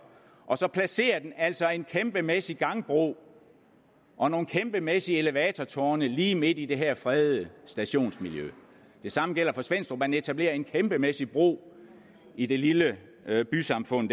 og så placerer den altså en kæmpemæssig gangbro og nogle kæmpemæssige elevatortårne lige midt i det her fredede stationsmiljø det samme gælder for svenstrup hvor man etablerer en kæmpemæssig bro i det lille bysamfund